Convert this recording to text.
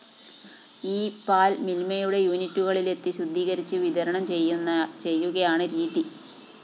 ഈ പാല്‍ മില്‍മയുടെ യൂണിറ്റുകളിലെത്തി ശുദ്ധീകരിച്ച് വിതരണം ചെയ്യുകയാണ് രീതി